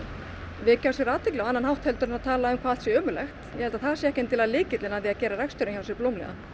vekja á sér athygli á annan hátt en að tala um hvað allt sé ömurlegt ég held að það sé ekki lykillinn að því að gera reksturinn hjá sér blómlegan